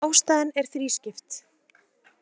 Ástæðan er þrískipt